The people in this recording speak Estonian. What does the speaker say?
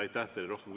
Aitäh teile!